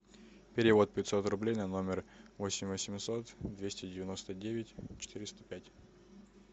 перевод пятьсот рублей на номер восемь восемьсот двести девяносто девять четыреста пять